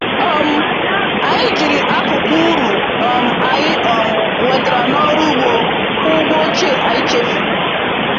um Anyị jiri akụkụ uru um anyị um nwetara n’ọrụ ugbo kwụọ ụgwọ ochie anyị chefuru.